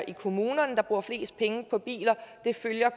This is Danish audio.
i kommunerne der bruger flest penge på biler